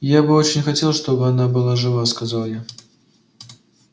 я бы очень хотел чтобы она была жива сказал я